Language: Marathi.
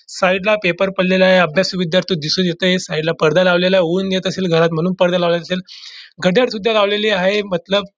साइड ला पेपर पडलेला आहे अभ्यासू विध्यार्थी दिसून येतंयसाइड ला पडदा लावलेला आहे ऊन येत असेल घरात म्हणून पडदा लावला असेल घडयाळ सुद्धा लावलेले आहे मतलब --